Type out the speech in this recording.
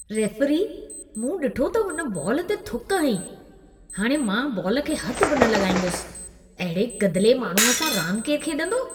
Referee, मूं ॾिठो त हुन बॉल ते थुक हईं। हाणि मां बॉल खे हथि बि न लॻाईंदुसि। अहिड़े गदिले माण्हूअ सां रांद केर खेॾंदो?